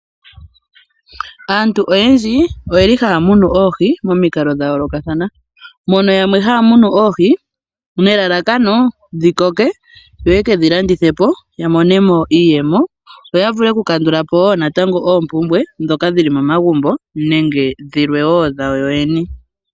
Aantu oyendji ohaya munu oohi momikalo dhayoolokathana. Yamwe ohaya munu oohi nelalakano dhikoke ya vule oku kedhi landithapo yamone mo iiyemo, yo yavule oku kandulapo oompumbwe ndhoka dhili momagumbo nenge dhawo yoyene.